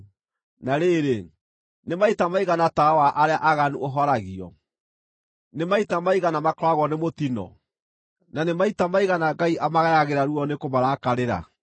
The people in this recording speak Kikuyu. “Na rĩrĩ, nĩ maita maigana tawa wa arĩa aaganu ũhoragio? Nĩ maita maigana makoragwo nĩ mũtino, na nĩ maita maigana Ngai amagayagĩra ruo nĩ kũmarakarĩra?